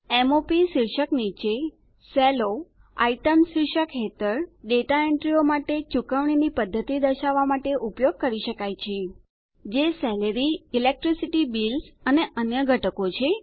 m o પ શીર્ષક નીચે સેલો આઇટીઇએમએસ શીર્ષક હેઠળ ડેટા એન્ટ્રીઓ માટે ચૂકવણીની પદ્ધતિ દર્શાવવા માટે ઉપયોગ કરી શકાય છે જે salaryઇલેક્ટ્રિસિટી બિલ્સ અને અન્ય ઘટકો છે